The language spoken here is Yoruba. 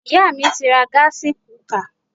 Iyá mi ti ra gásí kukà